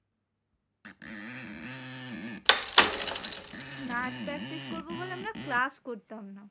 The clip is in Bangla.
নাচ practice করবো বলে আমরা class করতাম না।